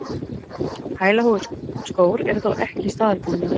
Hælaháir skór eru þó ekki staðalbúnaður